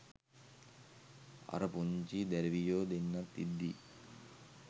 අර පුංචි දැරිවියො දෙන්නත් ඉද්දි